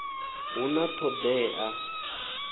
hu na t hod ea